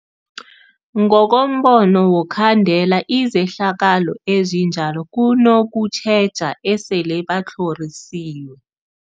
Ngokombono wokhandela izehlakalo ezinjalo kunokutjheja esele batlhorisiwe.